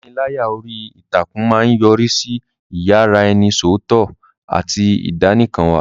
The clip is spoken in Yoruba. Ìpániláyà orí ìtàkùn máa ń yọrí sí ìyaraẹnisọ́tọ̀ àti ìdánìkanwà.